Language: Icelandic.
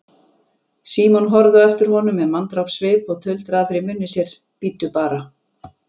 Símon horfði á eftir honum með manndrápssvip og tuldraði fyrir munni sér: Bíddu bara.